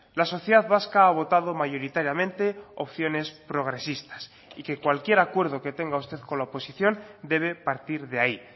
la sociedad vasca ha votado mayoritariamente opciones progresistas y que cualquier acuerdo que tenga usted con la oposición debe partir de ahí